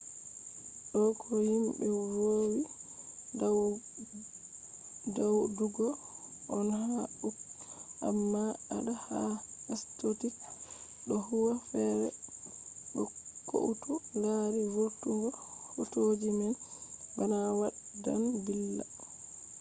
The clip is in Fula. do ko himbe vowi wadugo on ha uk amma adala ha scottish do huwa fere bo koutu lari vurtungo hotoji man bana waddan billa